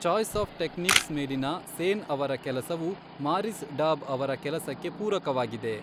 Choice of techniques' ಮೇಲಿನ ಸೇನ್ ಅವರ ಕೆಲಸವು ಮಾರಿಸ್ ಡಾಬ್ ಅವರ ಕೆಲಸಕ್ಕೆ ಪೂರಕವಾಗಿದೆ.